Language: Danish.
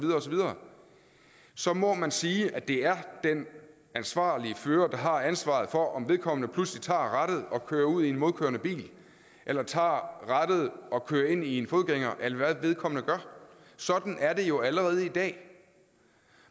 videre så må man sige at det er den ansvarlige fører der har ansvaret for om vedkommende pludselig tager rattet og kører ud i en modkørende bil eller tager rattet og kører ind i en fodgænger eller hvad vedkommende gør sådan er det jo allerede i dag